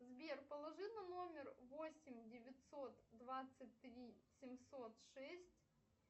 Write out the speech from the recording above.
сбер положи на номер восемь девятьсот двадцать три семьсот шесть